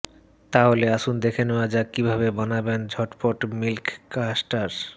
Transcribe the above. তাহলে আসুন দেখে নেওয়া যাক কীভাবে বানাবেন ঝটপট মিল্ক কাস্টার্ড